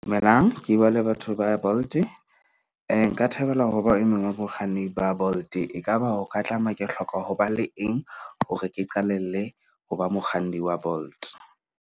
Dumelang ke bua le batho ba ya Bolt-e nka thabela ho ba e mong wa bakganni ba Bolt-e. Ekaba o ka tlameha ke hloka ho ba le eng hore ke qalelle ho ba mokganni wa Bolt?